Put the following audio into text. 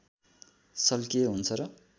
शल्कीय हुन्छ र